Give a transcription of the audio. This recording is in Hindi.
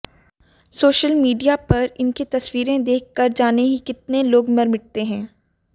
सोशल मीडिया पर इनकी तस्वीरें देख कर जाने ही कितने लोग मर मिटते हैं